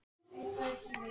Ég er mjög glaður hérna.